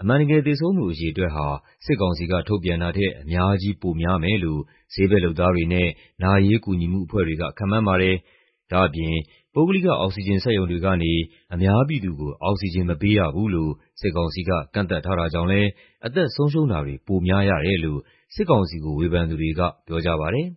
အမှန်တကယ် သေဆုံးသူအရေအတွက်ဟာ စစ်ကောင်စီကထုတ်ပြန်တာထက် အများကြီး ပိုများမယ်လို့ ဆေးဘက်လုပ်သားတွေနဲ့ နာရေးကူညီမှုအဖွဲ့တွေက ခန့်မှန်းပါတယ်။ ဒါ့အပြင် ပုဂ္ဂလိက အောက်ဆီဂျင်စက်ရုံတွေကနေ အများပြည်သူကို အောက်ဆီဂျင်မပေးရဘူးလို့ စစ်ကောင်စီက ကန့်သတ်ထားတာကြောင့်လည်း အသက်ဆုံးရှုံးတာတွေ ပိုများရတယ်လို့ စစ်ကောင်စီကို ဝေဖန်သူတွေက ပြောကြပါတယ်